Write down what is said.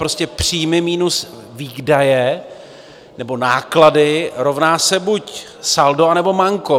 Prostě příjmy minus výdaje nebo náklady rovná se buď saldo, anebo manko.